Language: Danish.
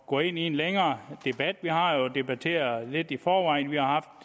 gå ind i en længere debat vi har jo debatteret lidt i forvejen vi har